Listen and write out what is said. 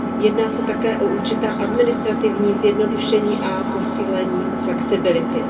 Jedná se také o určitá administrativní zjednodušení a posílení flexibility.